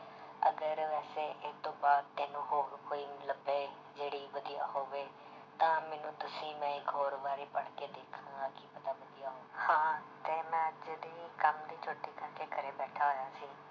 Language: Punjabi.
ਅਗਰ ਵੈਸੇ ਇਹ ਤੋਂ ਬਾਅਦ ਤੈਨੂੰ ਹੋਰ ਕੋਈ ਲੱਭੇ ਜਿਹੜੀ ਵਧੀਆ ਹੋਵੇ ਤਾਂ ਮੈਨੂੰ ਦੱਸੀ ਮੈਂ ਇੱਕ ਹੋਰ ਵਾਰੀ ਪੜ੍ਹਕੇ ਦੇਖਾਂਗਾ ਕੀ ਪਤਾ ਵਧੀਆ ਹੋ~ ਹਾਂ ਤੇ ਮੈਂ ਜਿਹੜੀ ਕੰਮ ਦੀ ਛੁੱਟੀ ਕਰਕੇ ਘਰੇ ਬੈਠਾ ਹੋਇਆ ਸੀ